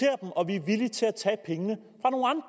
og vi er villige til at tage pengene